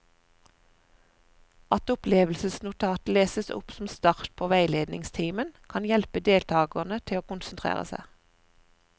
At opplevelsesnotatet leses opp som start på veiledningstimen, kan hjelpe deltakerne til å konsentrere seg.